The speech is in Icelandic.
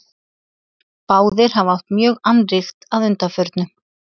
báðir hafa átt mjög annríkt að undanförnu